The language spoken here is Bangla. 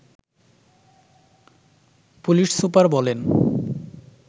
পুলিশ সুপার বলেন